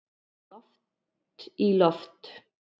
Loft í loft